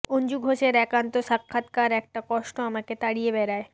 অঞ্জু ঘোষের একান্ত সাক্ষাৎকার একটা কষ্ট আমাকে তাড়িয়ে বেড়ায়